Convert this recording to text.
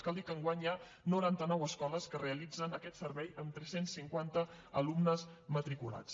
cal dir que enguany hi ha noranta nou escoles que realitzen aquest servei amb tres cents i cinquanta alumnes matriculats